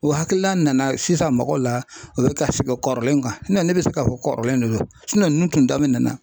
O hakilina nana sisan mɔgɔw la u bɛ ka segin kɔrilen kan ne bɛ se k'a fɔ kɔrilen de do ninnu tun daminɛnna